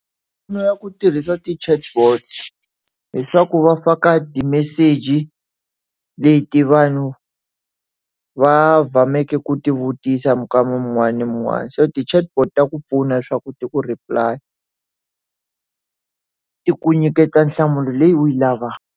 Mali ya ku tirhisa ti chatbot hileswaku va faka ti-message leti vanhu va ku ti vutisa muka mun'wana na mun'wana so ti chatbot ta ku pfuna leswaku ti ku replay-a ti ku nyiketa nhlamulo leyi u yi lavaka.